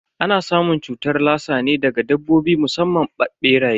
Ana samun cutar lassa ne daga dabbobi musamman beraye.